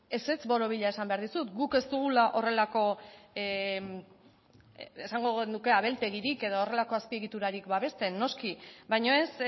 ezetz borobila esan behar dizut guk ez dugula horrelako esango genuke abeltegirik edo horrelako azpiegiturarik babesten noski baina ez